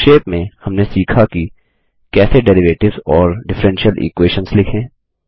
संक्षेप में हमने सीखा कि कैसे डेरिवेटिव्स और डिफ्फ्रेंशियल इक्वेशंस लिखें